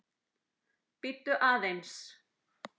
Bíddu aðeins